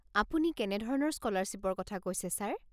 আপুনি কেনেধৰণৰ স্কলাৰশ্বিপৰ কথা কৈছে ছাৰ?